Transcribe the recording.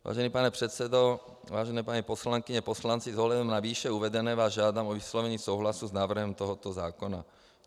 Vážený pane předsedo, vážené paní poslankyně, poslanci, s ohledem na výše uvedené vás žádám o vyslovení souhlasu s návrhem tohoto zákona.